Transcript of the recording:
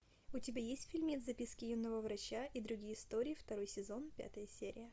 у тебя есть фильмец записки юного врача и другие истории второй сезон пятая серия